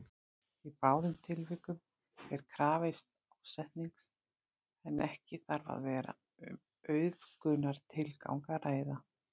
Í báðum tilvikum er krafist ásetnings en ekki þarf að vera um auðgunartilgang að ræða.